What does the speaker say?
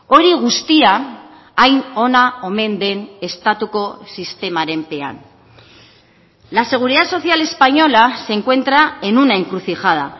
hori guztia hain ona omen den estatuko sistemaren pean la seguridad social española se encuentra en una encrucijada